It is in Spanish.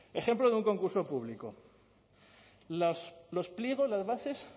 ejemplo de un concurso público los pliegos las bases